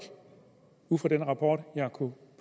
ud fra den rapport jeg har kunnet